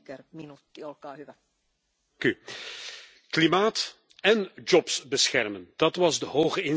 Klimaat én jobs beschermen, dat was de hoge inzet bij de hervorming van het emissiehandelssysteem.